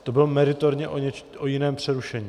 To bylo meritorně o jiném přerušení.